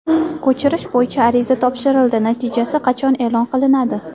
Ko‘chirish bo‘yicha ariza topshirildi, natijasi qachon e’lon qilinadi?